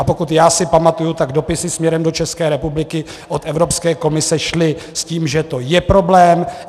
A pokud já si pamatuji, tak dopisy směrem do České republiky od Evropské komise šly s tím, že to je problém.